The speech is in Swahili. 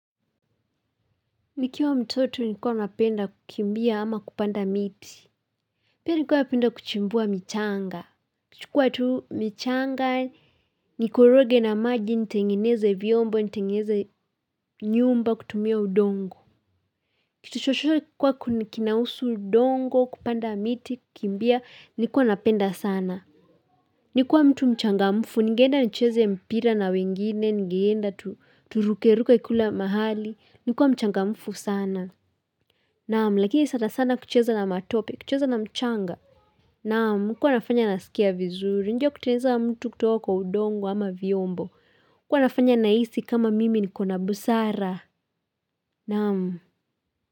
Nikiwa mtoto nikuwa napenda kukimbia ama kupanda miti Pia nikuwa napenda kuchimbua michanga kuchukua tu michanga Nikoroge na maji nitengeneze vyombo nitengeneze nyumba kutumia udongo Kitu chochocho kikuwa kinahusu udongo kupanda miti kukimbia nikua napenda sana Nikuwa mtu mchangamfu nigeenda nicheze mpira na wengine nigeenda turukeruke kila mahali nilikuwa mchangamfu sana Naam, lakini sana sana kucheza na matope, kucheza na mchanga. Naam, ilikuwa inafanya nasikia vizuri, hiyo kutengeneza mtu kutoka kwa udongo ama vyombo. iliKuwa nafanya nahisi kama mimi nikona busara. Naam.